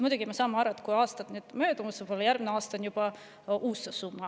Muidugi me saame aru, et kui aasta möödub, siis võib olla järgmisel aastal juba uus summa.